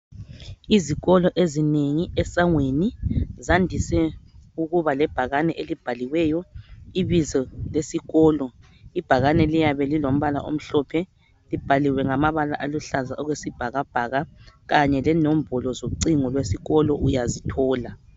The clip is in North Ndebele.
Izikolo ezinengi esangweni zandise ukuba lebhakani elibhaliweyo ibizo lesikolo. Ibhakani liyabe lilombala omhlophe libhaliwe ngamabala aluhlaza okwesibhakabhaka kanye lenombolo zocingo lwesikolo uyazithola.